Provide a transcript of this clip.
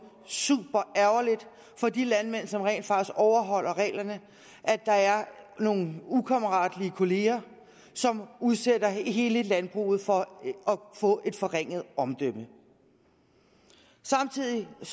superærgerligt for de landmænd som rent faktisk overholder reglerne at der er nogle ukammeratlige kolleger som udsætter hele landbruget for at få et forringet omdømme samtidig er